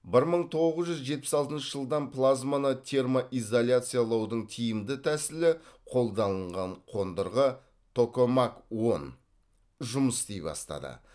бір мың тоғыз жүз жетпіс алтыншы жылдан плазманы термоизоляциялаудың тиімді тәсілі қолданылган қондырғы токомак он жұмыс істей бастады